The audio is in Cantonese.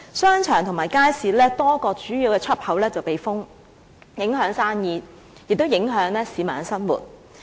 商場和街市的多個主要出入口被封閉，影響生意，亦影響市民的生活。